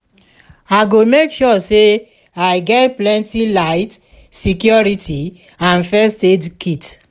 i go make sure say i get plenty light security and first aid kit.